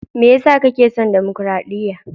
Me ya sa kake son damakaraɗiya?